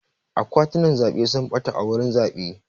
Akwatunan zaɓe sun ɓata a wurin zaɓe.